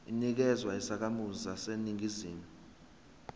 inikezwa izakhamizi zaseningizimu